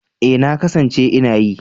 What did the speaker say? E, na kasance ina yi.